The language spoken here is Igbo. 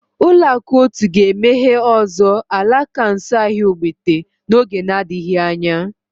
Ụlọakụ otu ga-emeghe ọzọ alaka nso ahịa ogbete n'oge na-adịghị anya